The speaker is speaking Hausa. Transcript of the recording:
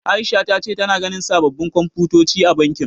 Aisha ta ce tana ganin sababbin Komfutoci a bankin.